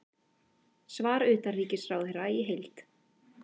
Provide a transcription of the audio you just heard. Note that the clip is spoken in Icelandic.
Svar utanríkisráðherra í heild